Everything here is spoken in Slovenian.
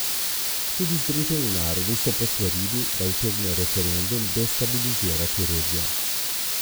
Tudi Združeni narodi so posvarili, da utegne referendum destabilizirati regijo.